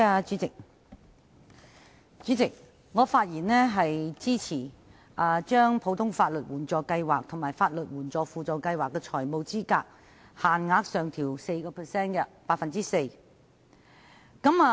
主席，我發言支持政府的建議，將普通法律援助計劃和法律援助輔助計劃的財務資格限額，分別上調 4%。